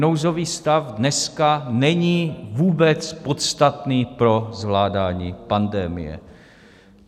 Nouzový stav dneska není vůbec podstatný pro zvládání pandemie.